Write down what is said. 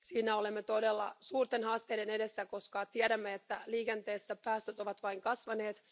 Siinä olemme todella suurten haasteiden edessä, koska tiedämme, että liikenteessä päästöt ovat vain kasvaneet.